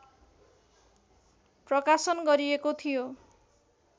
प्रकाशन गरिएको थियो।